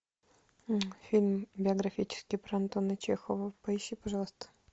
фильм биографический про антона чехова поищи пожалуйста